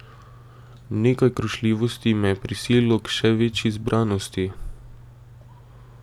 Nekaj krušljivosti me je prisililo k še večji zbranosti.